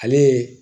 Ale ye